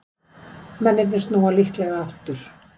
Mennirnir snúa líklega aftur